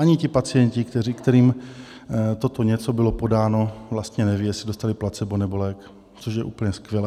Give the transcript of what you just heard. Ani ti pacienti, kterým toto něco bylo podáno, vlastně nevědí, jestli dostali placebo, nebo lék, což je úplně skvělé.